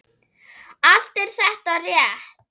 Allt er þetta rétt.